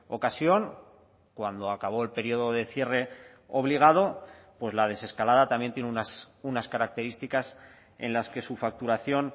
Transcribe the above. ocasión cuando acabó el periodo de cierre obligado pues la desescalada también tiene unas características en las que su facturación